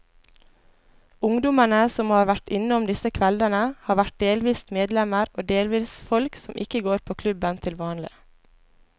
Ungdommene som har vært innom disse kveldene, har vært delvis medlemmer og delvis folk som ikke går på klubben til vanlig.